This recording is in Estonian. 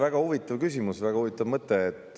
Väga huvitav küsimus, väga huvitav mõte.